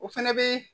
O fɛnɛ be